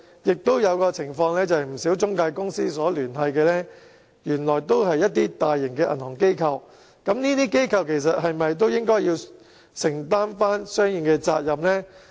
亦有些情況是，與不少中介公司有聯繫的原來都是大型的銀行機構，但這些機構是否也應該承擔相應的責任呢？